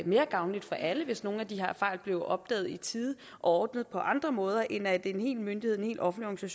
mere gavnligt for alle hvis nogle af de her fejl blev opdaget i tide og ordnet på andre måder end ved at en hel myndighed en helt offentlig